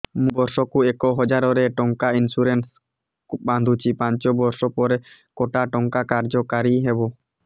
ମୁ ବର୍ଷ କୁ ଏକ ହଜାରେ ଟଙ୍କା ଇନ୍ସୁରେନ୍ସ ବାନ୍ଧୁଛି ପାଞ୍ଚ ବର୍ଷ ପରେ କଟା ଟଙ୍କା କାର୍ଯ୍ୟ କାରି ହେବ